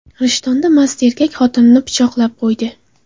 Rishtonda mast erkak xotinini pichoqlab qo‘ydi.